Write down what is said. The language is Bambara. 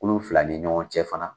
Kulu fila ni ɲɔgɔn cɛ fana